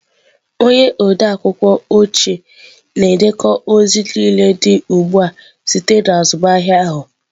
Onye odeakwụkwọ oche na-edekọ ozi niile dị ugbu a site na azụmahịa ahụ.